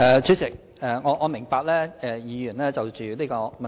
主席，我明白議員關心此問題。